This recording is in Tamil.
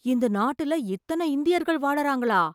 இந்த நாட்டுல இத்தனை இந்தியர்கள் வாழுறாங்களா!